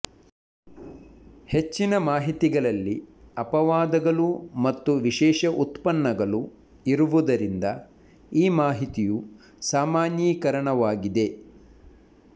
ಹೆಚ್ಚಿನ ಮಾಹಿತಿಗಳಲ್ಲಿ ಅಪವಾದಗಳು ಮತ್ತು ವಿಶೇಷ ಉತ್ಪನ್ನಗಳು ಇರುವುದರಿಂದ ಈ ಮಾಹಿತಿಯು ಸಾಮಾನ್ಯೀಕರಣವಾಗಿದೆ